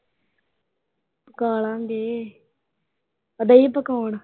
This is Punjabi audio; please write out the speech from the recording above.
ਪਕਾ ਲਾਂ ਗੇ। ਉਹ ਗਈ ਪਕਾਉਣ।